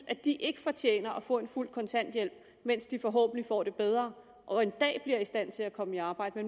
at de ikke fortjener at få en fuld kontanthjælp mens de forhåbentlig får det bedre og en dag bliver i stand til at komme i arbejde